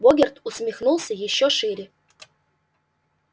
богерт усмехнулся ещё шире